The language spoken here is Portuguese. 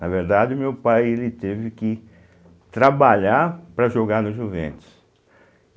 Na verdade, o meu pai ele teve que trabalhar para jogar no Juventus.